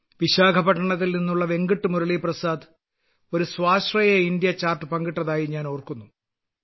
വിശാഖപട്ടണത്തിൽ നിന്നുള്ള വെങ്കട്ട് മുരളി പ്രസാദ് ഒരു സ്വാശ്രയ ഇന്ത്യ ചാർട്ട് പങ്കിട്ടതായി ഞാൻ ഓർക്കുന്നു